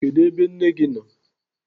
Kedụ ebe nne gị nọ?